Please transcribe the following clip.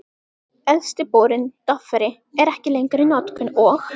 Elsti borinn, Dofri, er ekki lengur í notkun, og